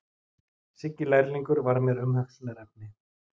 Siggi lærlingur var mér umhugsunarefni.